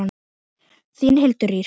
Þín Hildur Ýr.